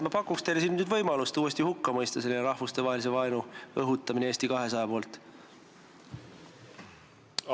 Ma pakun teile nüüd uuesti võimalust mõista selline rahvustevahelise vaenu õhutamine Eesti 200 poolt hukka.